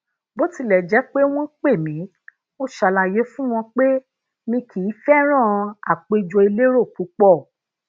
bó tilẹ jẹ pé wọn pè mí mo ṣàlàyé fún wọn pé mi kii feran apèjo elero pupo